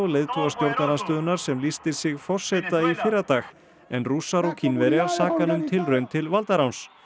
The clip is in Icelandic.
leiðtoga stjórnarandstöðunnar sem lýsti sig forseta í fyrradag en Rússar og Kínverjar saka hann um tilraun til valdaráns